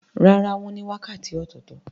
Rárá, wọ́n ní wákàtí ọ̀tọ̀tọ̀.